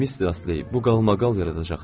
Mister Astley, bu qalmaqal yaradacaq.